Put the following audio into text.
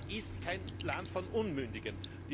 Russland ist kein Land von Unmündigen!